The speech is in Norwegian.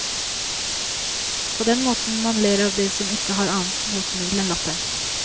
På den måten man ler av det som ikke har annet botemiddel enn latteren.